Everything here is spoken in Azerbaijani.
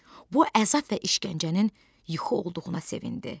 Bu əzab və işgəncənin yuxu olduğuna sevindi.